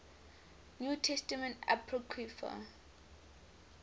new testament apocrypha